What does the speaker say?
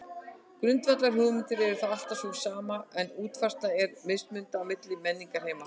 Grundvallarhugmyndin er þá alltaf sú sama en útfærslan er mismunandi á milli menningarheima.